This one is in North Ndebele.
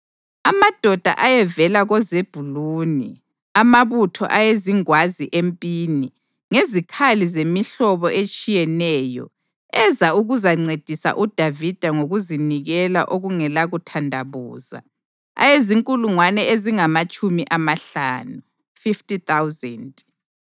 amadoda ayevela koZebhuluni, amabutho ayezingwazi empini, ngezikhali zemihlobo etshiyeneyo, eza ukuzancedisa uDavida ngokuzinikela okungalakuthandabuza, ayezinkulungwane ezingamatshumi amahlanu (50,000);